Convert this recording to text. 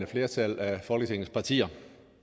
flertal af folketingets partier